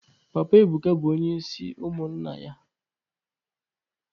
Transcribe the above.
Papa Ebuka bụ onye isi ụmụnna ya